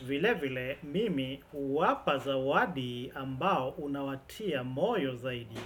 Vile vile mimi huwapa zawadi ambayo inawatia moyo zaidi.